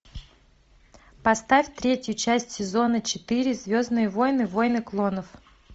поставь третью часть сезона четыре звездные войны войны клонов